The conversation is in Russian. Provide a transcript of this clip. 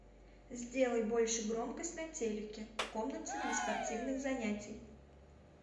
сделай больше громкость на телике в комнате для спортивных занятий